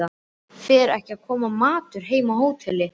Fer ekki að koma matur heima á hóteli?